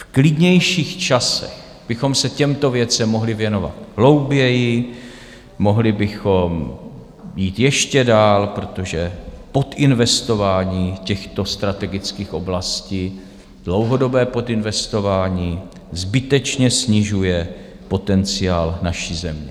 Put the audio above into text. V klidnějších časech bychom se těmto věcem mohli věnovat hlouběji, mohli bychom jít ještě dál, protože podinvestování těchto strategických oblastí, dlouhodobé podinvestování, zbytečně snižuje potenciál naší země.